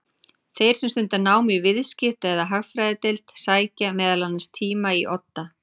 Þeir sem stunda nám í Viðskipta- eða Hagfræðideild sækja meðal annars tíma í Odda.